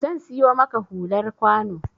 Zan siyo maka hular kwano